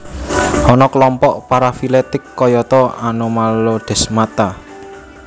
Ana kelompok parafiletik kayata Anomalodesmata